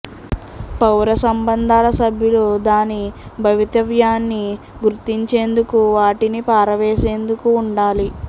పౌర సంబంధాల సభ్యులు దాని భవితవ్యాన్ని గుర్తించేందుకు వాటిని పారవేసేందుకు ఉండాలి